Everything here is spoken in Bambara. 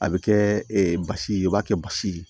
A bɛ kɛ ee basi ye u b'a kɛ basi ye